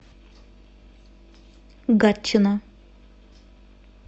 гатчина